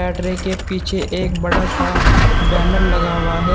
Battery के पीछे एक बड़ा सा बैनर लगा हुआ है।